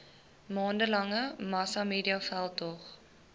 maande lange massamediaveldtog